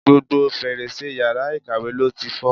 Gbogbo fèrèsé yàrá ìkàwé ló ti fọ́.